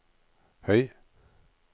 høy